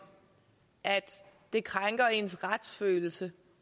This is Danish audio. at det krænker ens retsfølelse